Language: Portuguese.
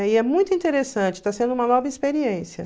E é muito interessante, está sendo uma nova experiência.